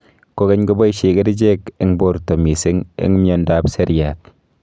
kokeny kopaishe kerichek eng porta mising eng mnyondop seriat